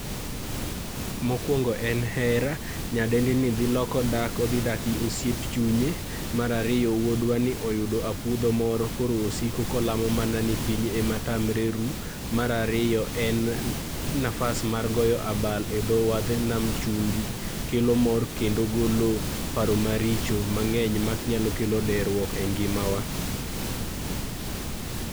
Mokuongo en hera, nyadendini dhi loko dak, odhi dak gi osiep chunye. Mar ariyo wuodwa ni oyudo apudho moro koro osiko mana kolamo mana ni piny ema tamre ru. Mar ariyo en nafas mar goyo abal e dho wadh nam chumbi kelo mor kendo golo paro maricho mang'eny manyalo kelo deruok e ngimawa.